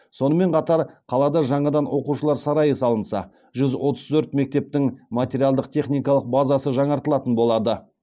сонымен қатар қалада жаңадан оқушылар сарайы салынса жүз отыз төрт мектептің материалдық техникалық базасы жаңартылатын болады